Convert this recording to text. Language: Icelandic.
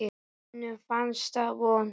Honum fannst það vont.